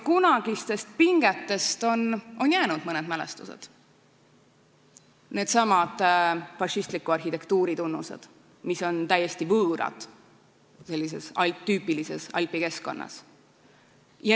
Kunagistest pingetest on jäänud mõned mälestused: needsamad fašistliku arhitektuuri näidised, mis on täiesti võõrad sellises tüüpilises alpi keskkonnas.